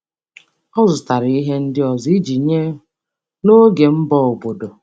Ọ zụtara ihe ndị ọzọ iji nye n’oge mbọ obodo.